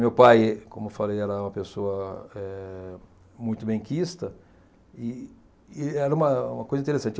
Meu pai, como eu falei, era uma pessoa eh muito benquista, e e era uma uma coisa interessante.